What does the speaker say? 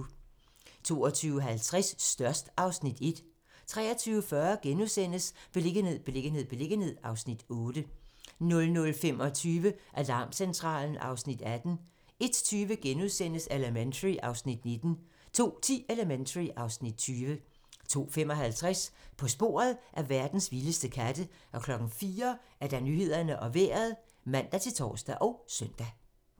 22:50: Størst (Afs. 1) 23:40: Beliggenhed, beliggenhed, beliggenhed (Afs. 8)* 00:25: Alarmcentralen (Afs. 18) 01:20: Elementary (Afs. 19)* 02:10: Elementary (Afs. 20) 02:55: På sporet af verdens vildeste katte 04:00: Nyhederne og Vejret (man-tor og søn)